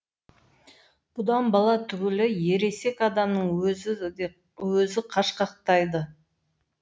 бұдан бала түгілі ересек адамның өзі қашқақтайды